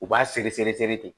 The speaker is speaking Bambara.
U b'a seri seri seri ten